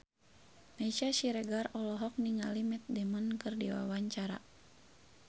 Meisya Siregar olohok ningali Matt Damon keur diwawancara